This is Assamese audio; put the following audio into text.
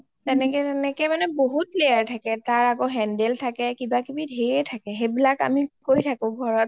তেনেকে তেনেকে বহুত layer থাকে টাৰ আৰু handle থাকে কিবা কিবি ধেৰ থাকে সেইবিলাক আমি কৰি থাকো ঘৰত